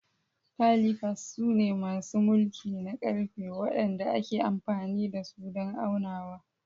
Calipers sune masu mulki na ƙarfe waɗanda ake amfani da su don aunawa.